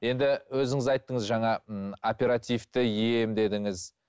енді өзіңіз айттыңыз жаңа ы оперативті ем дедіңіз